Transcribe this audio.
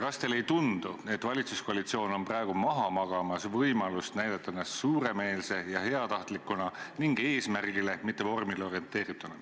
Kas teile ei tundu, et valitsuskoalitsioon on praegu maha magamas võimalust näidata ennast suuremeelse ja heatahtlikuna ning eesmärgile, mitte vormile orienteerituna?